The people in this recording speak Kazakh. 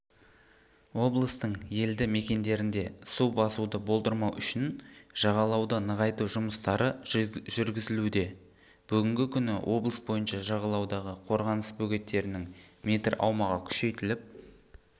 облыстың елді мекендерінде су басуды болдырмау үшін жағалауды нығайту жұмыстары жүргізілуде бүгінгі күні облыс бойынша жағалаудағы қорғаныс бөгеттерінің метр аумағы күшейтіліп